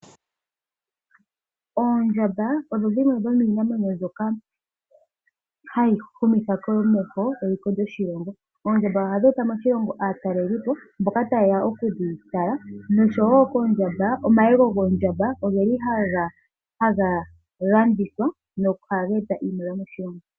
Oondjamba odho dhimwe dhomiinamwenyo mbyoka hayi humitha komeho eliko lyoshilongo. Oondjamba ohadhi eta moshilongo aatalelipo mboka taye ya okudhitala noshowo omayego goondjamba ohaga landithwa nohaga eta iimaliwa moshilongo.